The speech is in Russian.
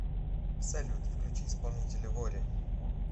салют включи исполнителя вори